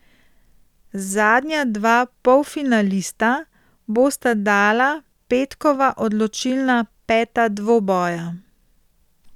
Zadnja dva polfinalista bosta dala petkova odločilna peta dvoboja.